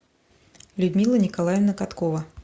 людмила николаевна каткова